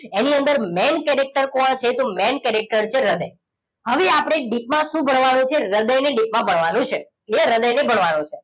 એની અંદર main character કોણ હશે તો મેઇન કેરેક્ટર છે હ્રદય હવે આપણે ડીપ માં શું ભણવાનું છે હ્રદય ને ડીપ માં ભણવાનું છે ક્લિયર હ્રદય ને ભણવાનું છે